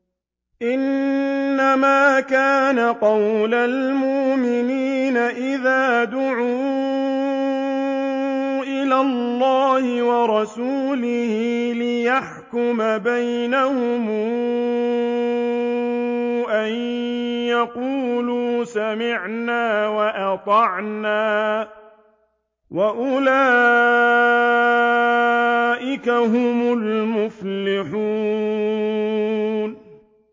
إِنَّمَا كَانَ قَوْلَ الْمُؤْمِنِينَ إِذَا دُعُوا إِلَى اللَّهِ وَرَسُولِهِ لِيَحْكُمَ بَيْنَهُمْ أَن يَقُولُوا سَمِعْنَا وَأَطَعْنَا ۚ وَأُولَٰئِكَ هُمُ الْمُفْلِحُونَ